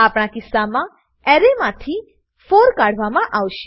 આપણા કિસ્સા મા એરેમાંથી 4 કાઢવામા આવશે